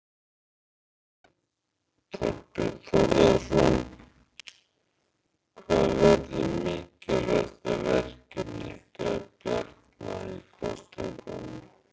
Þorbjörn Þórðarson: Hvað verður mikilvægasta verkefni ykkar Bjarna í kosningunum?